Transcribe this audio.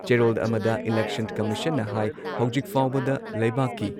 ꯆꯦꯔꯣꯜ ꯑꯃꯗ ꯏꯂꯦꯛꯁꯟ ꯀꯝꯃꯤꯁꯟꯅ ꯍꯥꯏ ꯍꯧꯖꯤꯛ ꯐꯥꯎꯕꯗ ꯂꯩꯕꯥꯛꯀꯤ